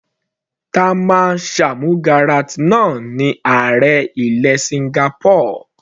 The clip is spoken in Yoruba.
Tharman Shanmugaratnam ní ààrẹ ilẹ̀ Singapore.